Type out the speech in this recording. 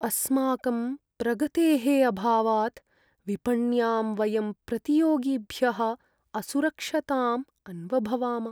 अस्माकं प्रगतेः अभावात् विपण्यां वयं प्रतियोगिभ्यः असुरक्षतां अन्वभवाम।